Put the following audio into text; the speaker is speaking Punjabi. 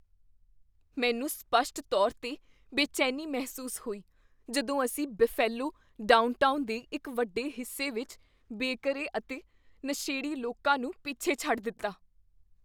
ਮੈਨੂੰ ਸਪੱਸ਼ਟ ਤੌਰ 'ਤੇ ਬੇਚੈਨੀ ਮਹਿਸੂਸ ਹੋਈ ਜਦੋਂ ਅਸੀਂ ਬਫੇਲਵੋ ਡਾਊਨਟਾਊਨ ਦੇ ਇੱਕ ਵੱਡੇ ਹਿੱਸੇ ਵਿੱਚ ਬੇਘਰੇ ਅਤੇ ਨਸ਼ੇੜੀ ਲੋਕਾਂ ਨੂੰ ਪਿੱਛੇ ਛੱਡ ਦਿੱਤਾ।